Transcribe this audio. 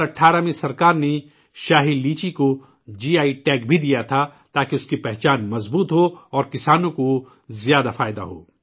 2018 میں حکومت نے شاہی لیچی کوجی آئی ٹیگ بھی دیا تھا تاکہ اسکی پہچان مستحکم ہو اور کسانوں کو زیادہ فائدہ ہو